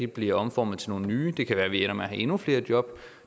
bliver omformet til nogle nye det kan være at vi ender med at have endnu flere jobs